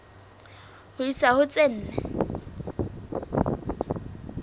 ho isa ho tse nne